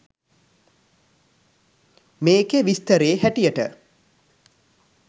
මේකෙ විස්තරේ හැටියට